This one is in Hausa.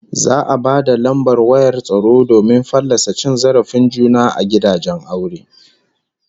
Za'a ba da lambar wayar tsaro domin fallasa cin zarafin juna a gidajen aure